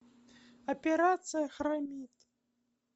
операция хромит